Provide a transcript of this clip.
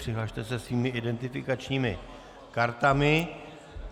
Přihlaste se svými identifikačními kartami.